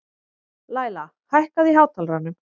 Læla, hækkaðu í hátalaranum.